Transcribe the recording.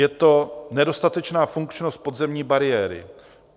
Je to nedostatečná funkčnost podzemní bariéry.